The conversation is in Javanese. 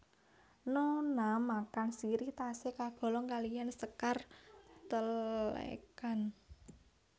Nona makan sirih tasih kagolong kaliyan sékar Telekan